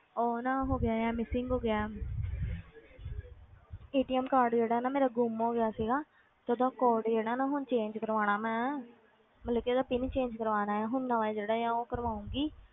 ਉਹ ਨਾ ਹੋ ਗਿਆ ਹੈ missing ਹੋ ਗਿਆ card ਜਿਹੜਾ ਹੈ ਨਾ ਮੇਰਾ ਗੁੰਮ ਹੋ ਗਿਆ ਸੀਗਾ ਤੇ ਉਹਦਾ code ਜਿਹੜਾ ਨਾ ਹੁਣ change ਕਰਵਾਉਣਾ ਮੈਂ ਮਤਲਬ ਉਹਦਾ PIN change ਕਰਵਾਉਣਾ ਹੈ ਹੁਣ ਨਵਾਂ ਜਿਹੜਾ ਹੈ ਉਹ ਕਰਵਾਊਂਗੀ,